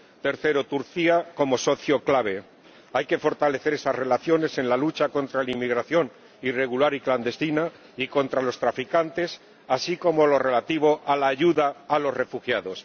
tercero, Turquía como socio clave —hay que fortalecer las relaciones en la lucha contra la inmigración irregular y clandestina y contra los traficantes, así como en lo relativo a la ayuda a los refugiados.